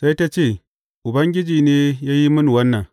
Sai ta ce, Ubangiji ne ya yi mini wannan.